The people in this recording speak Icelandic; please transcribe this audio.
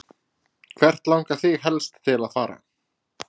Hvert langar þig helst til að fara?